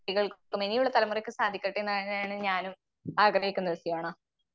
കുട്ടികൾക്കും ഇനിയുള്ള തലമുറക്ക് സാധിക്കട്ടേന്നാണ് ഞാനും ആഗ്രഹിക്കുന്നത് സിയോണ.